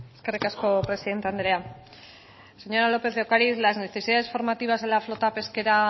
eskerrik asko presidente andrea señora lópez de ocariz las necesidades formativas de la flota pesquera